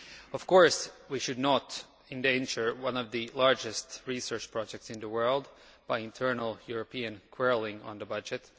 Of course, we should not endanger one of the largest research projects in the world by internal European quarrelling on the budget